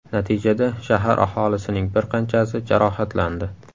Natijada shahar aholisining bir qanchasi jarohatlandi.